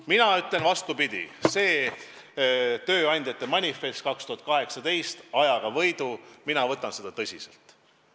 Mina ütlen, vastupidi, et ma võtan tööandjate tänavust manifesti "Ajaga võidu" tõsiselt.